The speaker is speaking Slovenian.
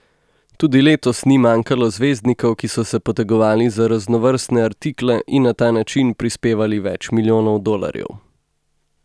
Tudi letos ni manjkalo zvezdnikov, ki so se potegovali za raznovrstne artikle in na ta način prispevali več milijonov dolarjev.